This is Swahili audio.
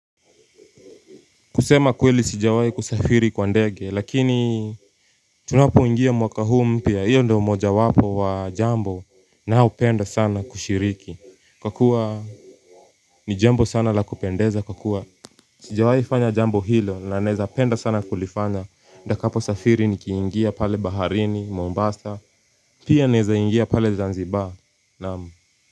Kusema kweli sijawai kusafiri kwa ndege lakini tunapo ingia mwaka huu mpya hiyo ndo moja wapo wa jambo na upenda sana kushiriki kwa kuwa ni jambo sana la kupendeza kwa kuwa Sijawai fanya jambo hilo na naeza penda sana kulifanya nitakapo safiri nikiingia pale baharini, Mombasa, pia naeza ingia pale Zanzibar, naam.